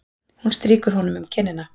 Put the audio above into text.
Hún strýkur honum um kinnina.